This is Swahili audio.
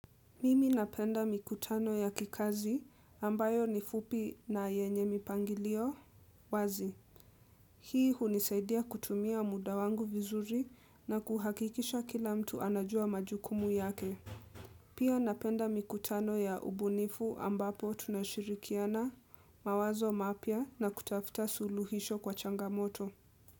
Mimi napenda mikutano ya kikazi ambayo ni fupi na yenye mipangilio wazi. Hii hunisaidia kutumia muda wangu vizuri na kuhakikisha kila mtu anajua majukumu yake. Pia napenda mikutano ya ubunifu ambapo tunashirikiana mawazo mapya na kutafuta suluhisho kwa changamoto.